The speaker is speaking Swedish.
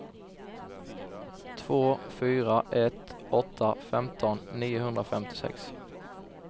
två fyra ett åtta femton niohundrafemtiosex